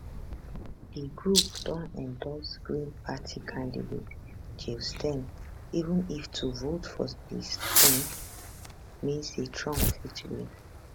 di group don endorse green party candidate jill stein even if to vote for stein mean say trump fit win